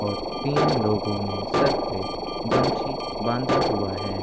और तीन लोगो ने सर पे गमछी बांधा हुआ है।